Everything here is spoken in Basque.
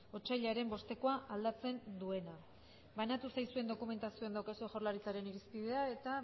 otsailaren bostekoa aldatzen duena banatu zaizuen dokumentazioan daukazue jaurlaritzaren irizpidea eta